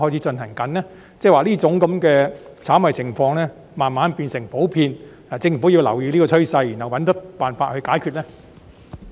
即是說，這種炒賣行為是否逐漸變得普遍，政府因而要留意這個趨勢，然後設法解決呢？